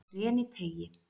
Greniteigi